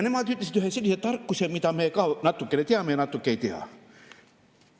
Nemad ütlesid ühe sellise tarkuse, mida me ka natukene teame, aga natuke ei tea.